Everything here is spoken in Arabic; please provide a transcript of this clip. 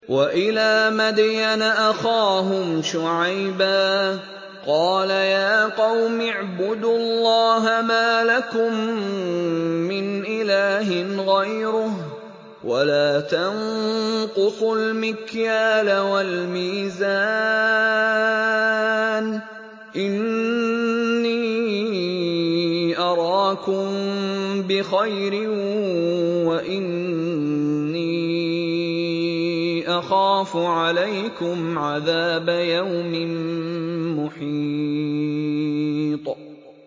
۞ وَإِلَىٰ مَدْيَنَ أَخَاهُمْ شُعَيْبًا ۚ قَالَ يَا قَوْمِ اعْبُدُوا اللَّهَ مَا لَكُم مِّنْ إِلَٰهٍ غَيْرُهُ ۖ وَلَا تَنقُصُوا الْمِكْيَالَ وَالْمِيزَانَ ۚ إِنِّي أَرَاكُم بِخَيْرٍ وَإِنِّي أَخَافُ عَلَيْكُمْ عَذَابَ يَوْمٍ مُّحِيطٍ